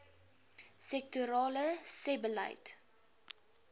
sektorale sebbeleid